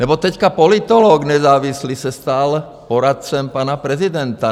Nebo teď politolog nezávislý se stal poradcem pana prezidenta.